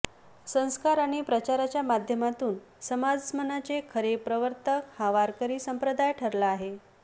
संस्कार आणि प्रचाराच्या माध्यमातून समाजमनाचे खरे प्रवर्तक हा वारकरी संप्रदाय ठरला आहे